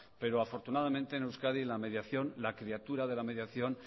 pero afortunadamente en euskadi la mediación la criatura de la mediación